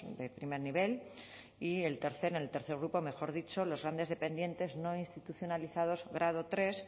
de primer nivel y el tercero en el tercer grupo los grandes dependientes no institucionalizados grado tercero